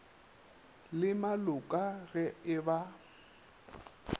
le maloka ge e ba